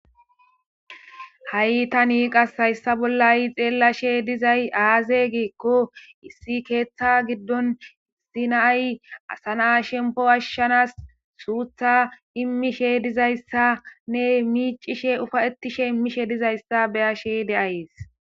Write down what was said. ha7i tanii qas hayssa bolla ha'i xeellashe dizay aaze giikko issi keeththa giddon issi naay asana shempo ashshanas suutha immishe dizayssanne miicishe ufa7ettishe immishe dizayssa beyashe de'ayees